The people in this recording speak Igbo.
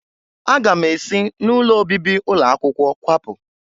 Aga m esi n'ụlọ obibi ụlọ akwụkwọ kwapụ.